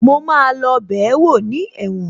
Mo máa lọ bẹ̀ẹ́wò ní ẹ̀wọ̀n